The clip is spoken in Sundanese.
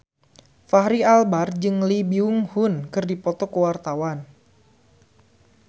Fachri Albar jeung Lee Byung Hun keur dipoto ku wartawan